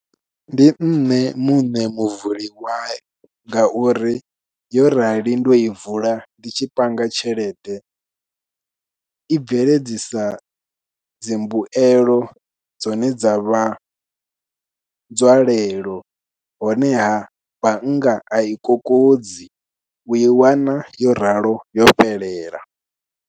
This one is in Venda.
Ndi nṋe muṋe muvuli wayo, nga uri yo rali ndo i vula, ndi tshi panga tshelede i bveledzisa dzimbuelo dzine dza vha nzwalelo. Honeha bannga a i kokodzi, u i wana yo ralo yo fhelela.